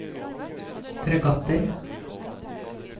fregatter